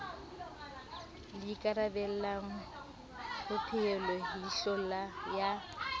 le ikarabellang ho peholeihlo ya